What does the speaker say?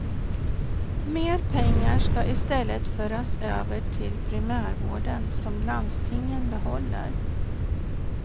Mer pengar ska i stället föras över till primärvården, som landstingen behåller.